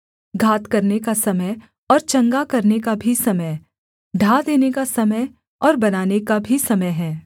घात करने का समय और चंगा करने का भी समय ढा देने का समय और बनाने का भी समय है